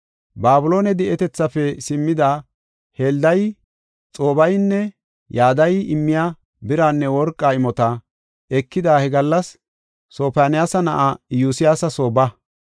“Babiloone di7etethaafe simmida Heldayi, Xoobeynne Yadayi immiya biranne worqa imota ekada he gallas Sofoniyaasa na7aa Iyosyaasa soo ba.